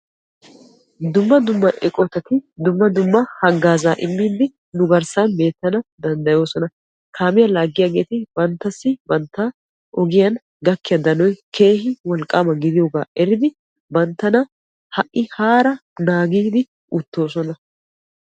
Dumma dumma eqotatti dumma dumma hagaaza immiide nu garssan beetanna danddayosonna kaamiya laagiyaagetti banttassi ogiyan gakiya danoy keehi wolqqama gidiyooga eriddi banttanna naagiddi uttosonna.